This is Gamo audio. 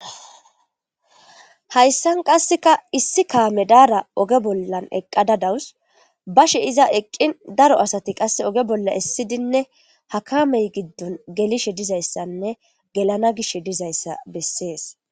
Hayssan qasseka issi kaame daara oge bollan eqqada dawus bashe iza eqqin daro asati qasse oge bolla essidinne hakamey giddon gelishe dizayssanne gelana gish dizayssa bessees.